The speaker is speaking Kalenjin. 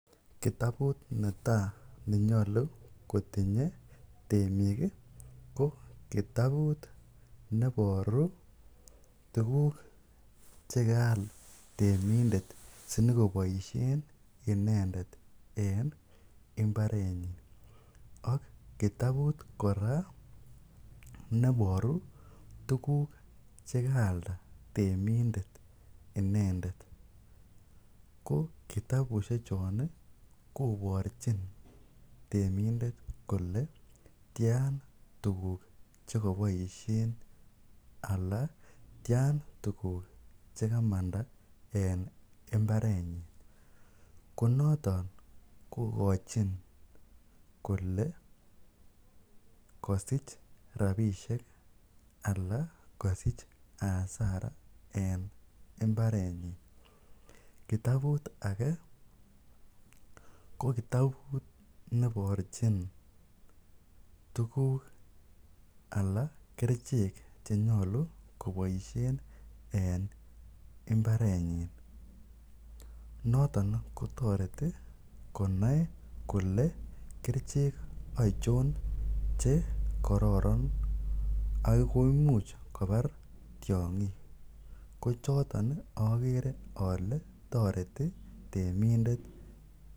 Kitabut netaa nenyolu kotinye temik ko kitabut neboru tukuk chekaal temindet sinyokoboishen inendet en imbarenyin ak kiitabut kora neboru tukuk chekaalda temindet inendet ko kitabushe chon koborchin temindet kolee tian tukuk chekoboishen alaa tian tukuk chekamanda en imbarenyin ko noton kokochin kolee kosich rabishek alaa kosich asara en imbarenyin, kitabut akee ko kitabut neborchin tukuk alaa kerichek chenyolu koboishen en imbarenyin, noton kotoreti konai kolee kerichek achon che kororon ak koimuch kobar tiongik, ko choton okere olee toreti temindet.